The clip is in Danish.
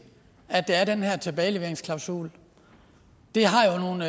at der er den her tilbageleveringsklausul det har jo nogle